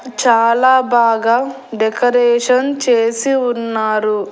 చాలా బాగా డెకరేషన్ చేసి ఉన్నారు.